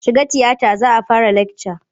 Shiga tiyatar za mu fara lakca!